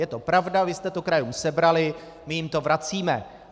Je to pravda, vy jste to krajům sebrali, my jim to vracíme.